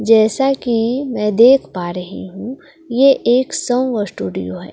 जैसा कि मैं देख पा रही हूं ये एक संव स्टूडियो है।